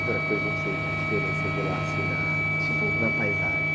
Outra coisa, não sei que diferença você vê lá, assim, na...ipo.a paisagem.